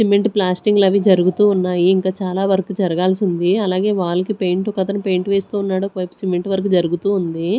Cement ప్లాస్టింగ్లు అవి జరుగుతూ ఉన్నాయి ఇంకా చాలా వర్క్ జరగాల్సి ఉంది అలాగే వాల్కి పెయింట్ ఒకతను పెయింట్ వేస్తూ ఉన్నాడు ఒకవైపు సిమెంట్ వర్క్ జరుగుతూ ఉంది.